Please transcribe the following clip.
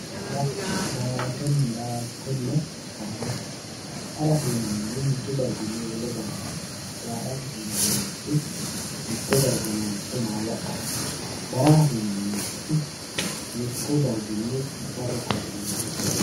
hara daa''attonna darama harate yinannihu mittu darginni wole darga harate daa'atate yinannirichi mitto darga nooricho maala'late daramate yinannirichi mittu darginni qarru kalaqemeenna xooqate.